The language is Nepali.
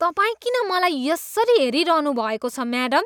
तपाईँ किन मलाई यसरी हेरिरहनुभएको छ म्याडम?